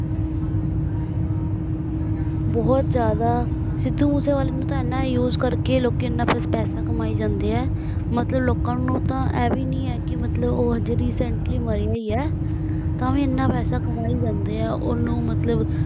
ਬਹੁਤ ਜਿਆਦਾ ਸਿੱਧੂ ਮੂਸੇਵਾਲੇ ਨੂੰ ਤਾਂ ਐਨਾ Use ਕਰਕੇ ਲੋਕੀਂ ਐਨਾ ਪੈਸੇ ਕਮਾਈ ਜਾਂਦੇ ਹੈ ਮਤਲਬ ਲੋਕਾਂ ਨੂੰ ਤਾਂ ਇਹ ਵੀ ਨਹੀਂ ਹੈ ਮਤਲਬ ਉਹ ਅਜੇ Recently ਮਰਿਆ ਹੀ ਹੈ ਤਾਂ ਵੀ ਐਨਾ ਪੈਸੇ ਕਮਾਈ ਜਾਂਦੇ ਹੈ ਓਹਨੂੰ ਮਤਲਬ ਬਹੁਤ ਜਿਆਦਾ